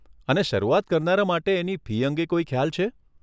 અને શરૂઆત કરનારા માટે એની ફી અંગે કોઈ ખ્યાલ છે?